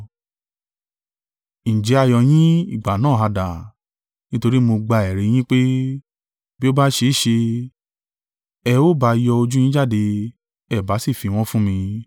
Ǹjẹ́ ayọ̀ yín ìgbà náà ha dà? Nítorí mo gba ẹ̀rí yín pé, bi o bá ṣe é ṣe, ẹ̀ ò bá yọ ojú yín jáde, ẹ̀ bá sì fi wọ́n fún mi.